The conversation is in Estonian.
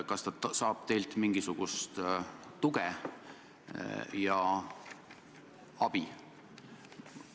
Kas ta saab teilt mingisugust tuge ja abi?